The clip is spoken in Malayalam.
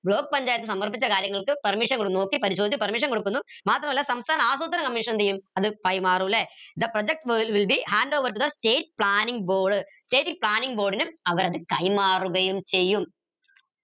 block പഞ്ചായത്ത് സമർപ്പിച്ച കാര്യങ്ങൾക്ക് permission നോക്കി പരിശോധിച്ച് permission കൊടുക്കുന്നു മാത്രമല്ല സംസ്ഥാന ആസൂത്രണ Commission എന്തെയും അത് കൈമാറു ല്ലെ the project will be hand overed to the state planning board state planning board ന് അവരത് കൈമാറുകയും ചെയ്യും